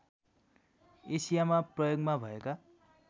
एसियामा प्रयोगमा भएका